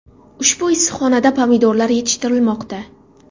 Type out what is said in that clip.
Ushbu issiqxonada pomidorlar yetishtirilmoqda.